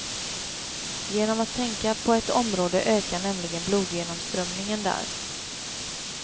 Genom att tänka på ett område ökar nämligen blodgenomströmningen där.